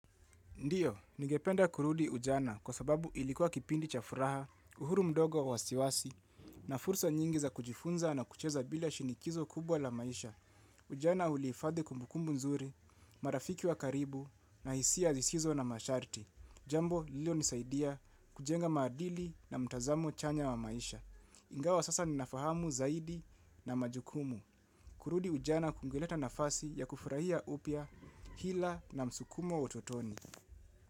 Ndiyo, ningependa kurudi ujana kwa sababu ilikuwa kipindi cha furaha, uhuru mdogo wa wasiwasi, na fursa nyingi za kujifunza na kucheza bila shinikizo kubwa la maisha. Ujana huliifadhe kumbukumbu nzuri, marafiki wa karibu, na hisia zisizo na masharti. Jambo, lililonisaidia kujenga madili na mtazamo chanya wa maisha. Ingawa sasa ninafahamu zaidi na majukumu. Kurudi ujana kungeleta nafasi ya kufurahia upya, hila na msukumo wa utotoni.